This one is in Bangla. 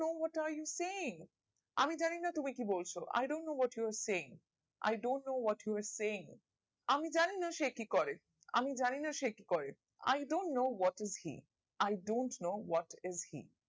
what you're talking আমি জানি না তুমি কি বলছো I don't know what you're talking I don't know what you're talking আমি জানি না সে কি করে আমি জানি না সে কি করে I I don't know what is see I don't know what is see